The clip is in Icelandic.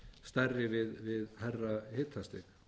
stærri við hærra hitastig